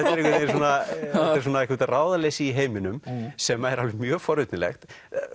er eitthvert ráðaleysi í heiminum sem er alveg mjög forvitnilegt